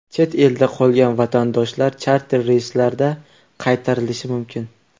Chet elda qolgan vatandoshlar charter reyslarda qaytarilishi mumkin.